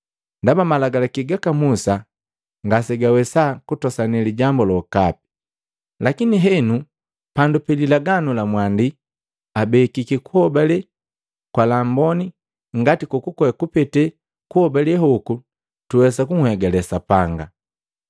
Ndaba malagalaki gaka Musa ngasegawesa kutosane lijambu lokapi. Lakini henu, pandu pi lilagi la mwandi abekiki kuhobale kwa lamboni ngani kokukwe kupete kuhobale hoku tuwesa kunhegale Sapanga.